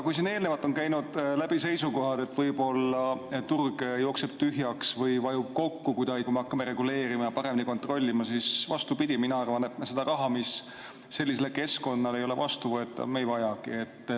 Kui siin eelnevalt on käinud läbi seisukohad, et võib-olla turg jookseb tühjaks või vajub kuidagi kokku, kui me hakkame reguleerima ja paremini kontrollima, siis mina arvan vastupidi: seda raha, mis sellisele keskkonnale ei ole vastuvõetav, me ei vajagi.